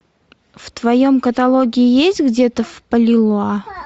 в твоем каталоге есть где то в палилула